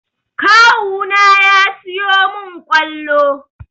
Kawu na ya siyo min ƙwalo